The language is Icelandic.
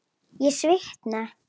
Ég svitna.